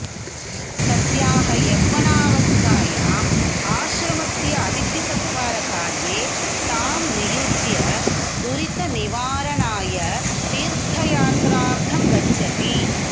तस्याः यौवनावस्थायाम् आश्रमस्य अतिथिसत्कारकार्ये तां नियुज्य दुरितनिवारणाय तीर्थयात्रार्थं गच्छति